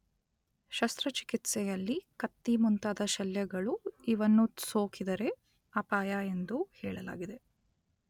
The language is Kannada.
ಶಸ್ತ್ರ ಚಿಕಿತ್ಸೆಯಲ್ಲಿ ಕತ್ತಿ ಮುಂತಾದ ಶಲ್ಯಗಳು ಇವನ್ನು ಸೋಕಿದರೆ ಅಪಾಯ ಎಂದು ಹೇಳಲಾಗಿದೆ.